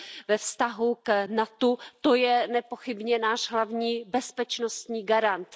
ve vztahu k NATO, to je nepochybně náš hlavní bezpečnostní garant.